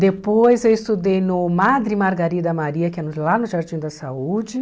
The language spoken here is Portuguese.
Depois eu estudei no Madre Margarida Maria, que é no lá no Jardim da Saúde.